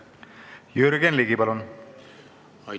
Jürgen Ligi, palun!